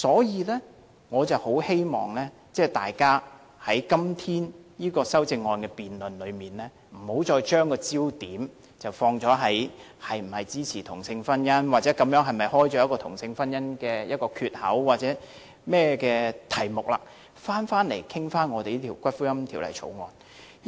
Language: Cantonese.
因此，我很希望大家在今天這項修正案的辯論中，不要再把焦點放在是否支持同性婚姻、這樣會否打開同性婚姻的缺口或其他任何議題上，而應集中討論這項《條例草案》。